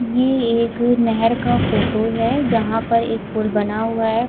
ये एक नहर का फोटो है जहां पर एक पुल बना हुआ है।